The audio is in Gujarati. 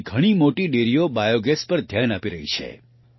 આજે ઘણી મોટી ડેરીઓ બાયોગેસ પર ધ્યાન આપી રહી છે